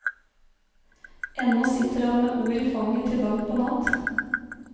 Ennå sitter han med ord i fanget til langt på natt.